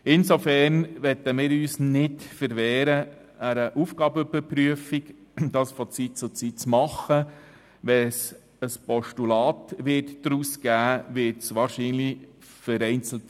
Insofern möchten wir uns nicht gegen eine von Zeit zu Zeit vorzunehmende Aufgabenüberprüfung wehren.